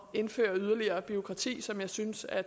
indføre yderligere bureaukrati som jeg synes at